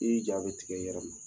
I ni jaw bɛ tigɛ i yɛrɛ ma